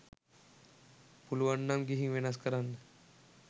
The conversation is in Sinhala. පුළුවන් නම් ගිහින් වෙනස් කරන්න